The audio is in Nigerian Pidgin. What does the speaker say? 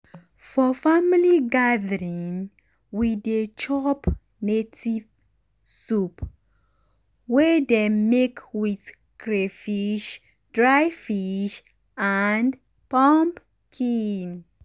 for family gathering we dey chop native soup wey um dem make with crayfish dry fish and pumpkin.